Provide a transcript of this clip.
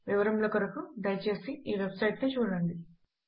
వివరముల కొరకు దయచేసి ఈ వెబ్ సైట్ ను చూడండి